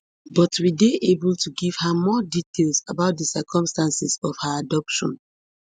but we dey able to give her more details about di circumstances of her adoption